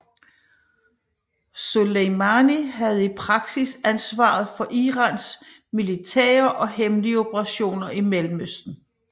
Soleimani havde i praksis ansvaret for Irans militære og hemmelige operationer i Mellemøsten